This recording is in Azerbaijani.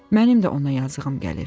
Mənim də ona yazığım gəlir.